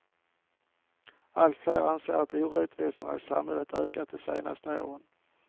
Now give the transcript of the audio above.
Allt fler anser att orättvisorna i samhället ökat det senaste året.